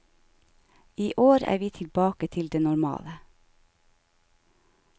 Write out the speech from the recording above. I år er vi tilbake til det normale.